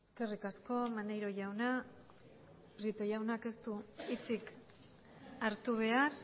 eskerrik asko maneiro jauna prieto jaunak ez du hitzik hartu behar